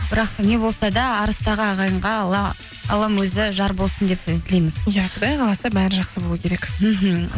бірақ не болса да арыстағы ағайынға аллам өзі жар болсын деп тілейміз иә құдай қаласа бәрі жақсы болу керек мхм